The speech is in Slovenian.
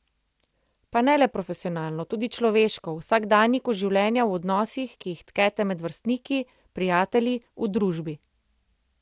Pa ne le profesionalno, tudi človeško, v vsakdanjiku življenja, v odnosih, ki jih tkete med vrstniki, prijatelji, v družbi.